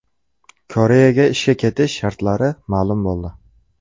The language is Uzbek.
Koreyaga ishga ketish shartlari ma’lum bo‘ldi.